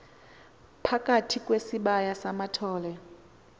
phambi kwesibaya samathole